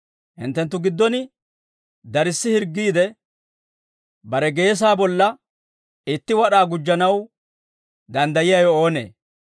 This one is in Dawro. Hinttenttu giddon darssi hirggiide, bare geesaa bolla itti wad'aa gujjanaw danddayiyaawe oonee?